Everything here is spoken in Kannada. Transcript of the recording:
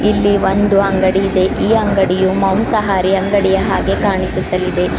ಇಲ್ಲಿ ಒಂದು ಅಂಗಡಿ ಇದೆ ಈ ಅಂಗಡಿಯು ಮಾಂಸಾಹಾರಿ ಅಂಗಡಿಯ ಹಾಗೆ ಕಾಣಿಸುತ್ತಲಿದೆ.